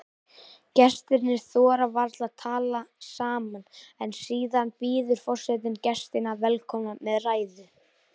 Gestirnir þora varla að tala saman en síðan býður forsetinn gestina velkomna með ræðu.